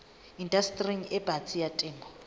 indastering e batsi ya temo